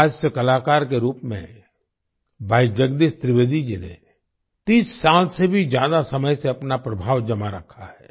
हास्य कलाकार के रूप में भाई जगदीश त्रिवेदी जी ने 30 साल से भी ज्यादा समय से अपना प्रभाव जमा रखा है